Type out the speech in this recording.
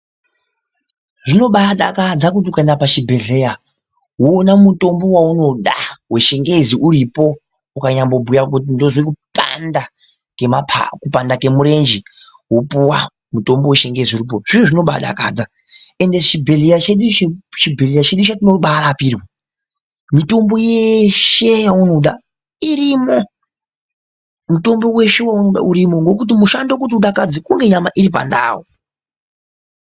Zvinoba sakadza kuti ukaenda pachibhehleya woona mutombo waunoda wechingezi uripo ukanyabhuya kuti ndozwe kupanda ngemapapu kupandwa ngemurenje wopuwa mutombo wechingezi uripo zviro zvinobadakaza ende chibhehlera chedu ichi chetinobarapirwa mitombo yeshe yeunoda irimo ngokuti ushando kuti nyama dzipinde pandau.